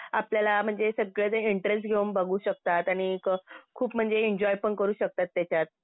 आणि खूप आपल्याला म्हणजे सगळं ते इंटरेस्ट घेऊन बघू शकतात आणि एक खूप म्हणजे एन्जॉय पण करू शकतात त्याच्यात.